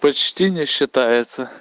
почти не считается